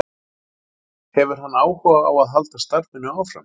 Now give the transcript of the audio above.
Hefur hann áhuga á að halda starfinu áfram?